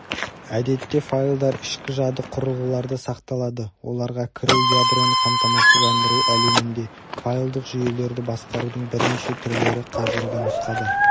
әдетте файлдар ішкі жады құрылғыларда сақталады оларға кіру ядроны қамтамасыздандыру әлемінде файлдық жүйелерді басқарудың бірнеше түрлері қазіргі нұсқада